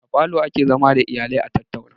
A falo ake zama da iyalaia tattauna